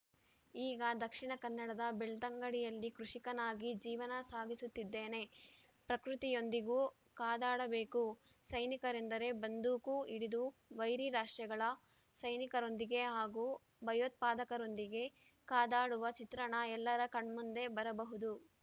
ಈಗ ದಕ್ಷಿಣ ಕನ್ನಡದ ಬೆಳ್ತಂಗಡಿಯಲ್ಲಿ ಕೃಷಿಕನಾಗಿ ಜೀವನ ಸಾಗಿಸುತ್ತಿದ್ದೇನೆ ಪ್ರಕೃತಿಯೊಂದಿಗೂ ಕಾದಾಡಬೇಕು ಸೈನಿಕರೆಂದರೆ ಬಂದೂಕು ಹಿಡಿದು ವೈರಿ ರಾಷ್ಟ್ರಗಳ ಸೈನಿಕರೊಂದಿಗೆ ಹಾಗೂ ಭಯೋತ್ಪಾದಕರೊಂದಿಗೆ ಕಾದಾಡುವ ಚಿತ್ರಣ ಎಲ್ಲರ ಕಣ್ಮುಂದೆ ಬರಬಹುದು